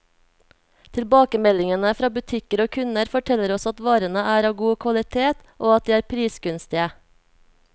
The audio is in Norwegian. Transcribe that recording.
Tilbakemeldingene fra butikker og kunder, forteller oss at varene er av god kvalitet, og at de er prisgunstige.